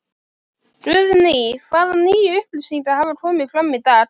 Guðný: Hvaða nýju upplýsingar hafa komið fram í dag?